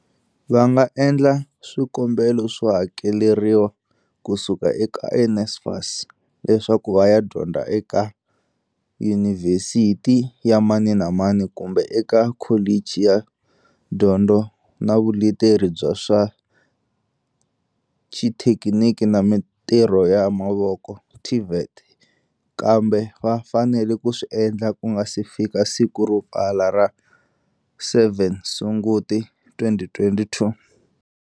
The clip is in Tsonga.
Va nga endla swikombelo swo hakeleriwa ku suka eka NSFAS leswaku va ya dyondza eka yunivhesiti ya mani na mani kumbe eka kholichi ya dyondzo na vuleteri bya swa xithekiniki na mitirho ya mavoko, TVET, kambe va fanele ku swi endla ku nga si fika siku ro pfala ra 7 Sunguti, 2022.